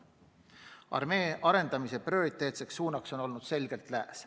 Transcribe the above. Armee arendamise prioriteetne suund on olnud selgelt lääs.